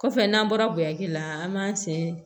Kɔfɛ n'an bɔra bonyaki la an b'an sen